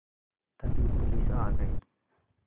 तभी पुलिस आ गई